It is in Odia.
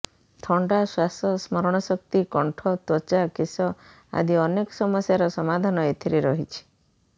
ଥଣ୍ଡା ଶ୍ୱାସ ସ୍ମରଣ ଶକ୍ତି କଣ୍ଠ ତ୍ୱଚା କେଶ ଆଦି ଅନେକ ସମସ୍ୟାର ସମାଧାନ ଏଥିରେ ରହିଛି